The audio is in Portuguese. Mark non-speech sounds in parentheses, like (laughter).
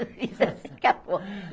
(laughs) Eu fiz assim acabou.